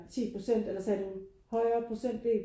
10 procent eller sagde du højere procent del?